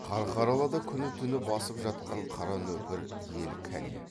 қарқаралыда күні түні басып жатқан қара нөпір ел кәне